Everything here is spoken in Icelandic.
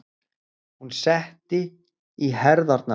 Hún setti í herðarnar.